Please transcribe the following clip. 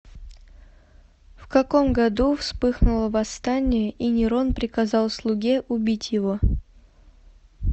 в каком году вспыхнуло восстание и нерон приказал слуге убить его